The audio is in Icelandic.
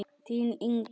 Þín, Inger.